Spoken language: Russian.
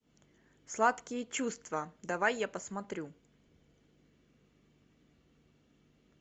сладкие чувства давай я посмотрю